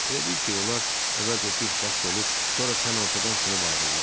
Elə bil ki, onlar əvvəlcə bir xətt olub, sonra tən ortadan sınıb ayrılmışdı.